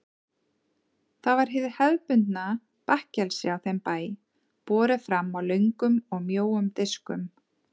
Það var hið hefðbundna bakkelsi á þeim bæ, borið fram á löngum og mjóum diskum.